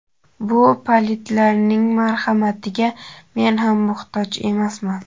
Bu palidlarning marhamatiga men ham muhtoj emasman!.